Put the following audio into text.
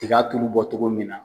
Tiga tulu bɔ cogo min na